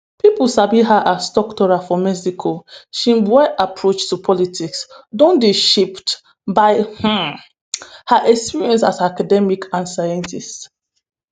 pipo sabi her as "doctora" for mexico sheinbaum approach to politics don dey shaped by um her experience as academic and scientist.